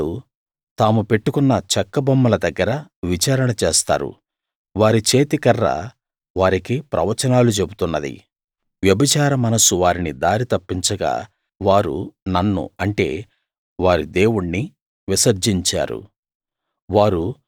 నా ప్రజలు తాము పెట్టుకున్న చెక్క బొమ్మల దగ్గర విచారణ చేస్తారు వారి చేతికర్ర వారికి ప్రవచనాలు చెబుతున్నది వ్యభిచార మనస్సు వారిని దారి తప్పించగా వారు నన్ను అంటే వారి దేవుణ్ణి విసర్జించారు